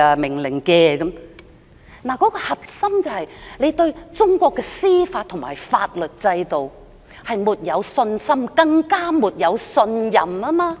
問題的核心是對中國的司法和法律制度沒有信心，更沒有信任。